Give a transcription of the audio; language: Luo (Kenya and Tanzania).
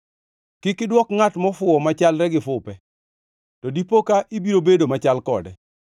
Kik idwok ngʼat mofuwo machalre gi fupe, to dipo ka ibiro bedo machal kode.